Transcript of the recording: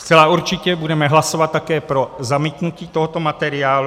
Zcela určitě budeme hlasovat také pro zamítnutí tohoto materiálu.